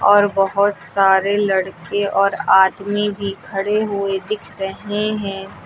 और बहुत सारे लड़के और आदमी भी खड़े हुए दिख रहे हैं।